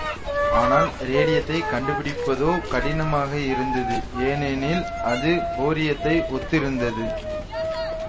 ஆனால் ரேடியத்தை கண்டுபிடிப்பதோ கடினமாக இருந்தது ஏனெனில் அது பேரியத்தை ஒத்திருந்தது